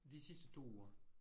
De sidste 2 uger